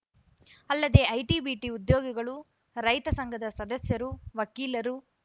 ಅಲ್ಲದೆ IT BT ಉದ್ಯೋಗಿಗಳು ರೈತ ಸಂಘದ ಸದಸ್ಯರು ವಕೀಲರು